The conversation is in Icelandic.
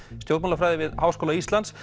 stjórnmálafræði við Háskóla Íslands